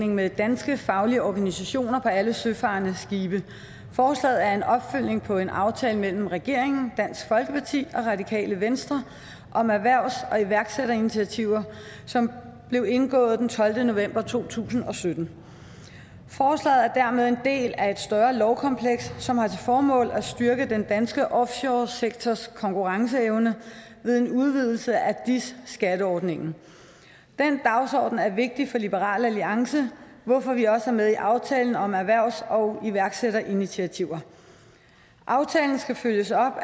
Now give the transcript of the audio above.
med danske faglige organisationer for alle søfarende på skibe forslaget er en opfølgning på en aftale mellem regeringen dansk folkeparti og radikale venstre om erhvervs og iværksætterinitiativer som blev indgået den tolvte november to tusind og sytten forslaget er dermed en del af et større lovkompleks som har til formål at styrke den danske offshoresektors konkurrenceevne ved en udvidelse af dis skatteordningen den dagsorden er vigtig for liberal alliance hvorfor vi også er med i aftalen om erhvervs og iværksætterinitiativer aftalen skal følges op og